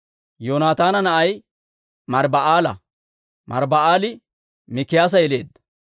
Yoonataana na'ay Mariiba'aala; Mariiba'aali Mikiyaasa yeleedda.